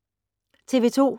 TV 2